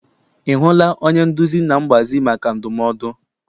I hụla onye nduzi na mgbazi maka ndumodu?